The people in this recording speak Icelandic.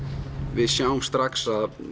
við sjáum strax að